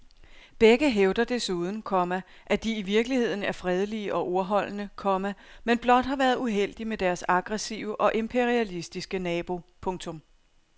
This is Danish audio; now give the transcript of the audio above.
Begge hævder desuden, komma at de i virkeligheden er fredelige og ordholdende, komma men blot har været uheldig med deres aggressive og imperialistiske nabo. punktum